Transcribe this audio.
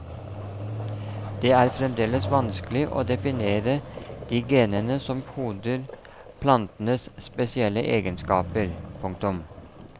Det er fremdeles vanskelig å definere de genene som koder plantenes spesielle egenskaper. punktum